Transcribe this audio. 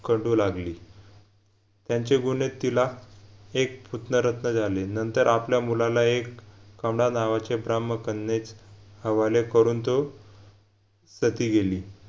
कंढू लागली त्यांचे गुन्हे तिला एक पुतनारत्न झाले नंतर आपल्या मुलाला एक कौंढ नावाचे ब्राह्मकन्येस हवाले करून तो सती गेली